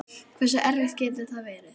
Hversu erfitt getur það verið?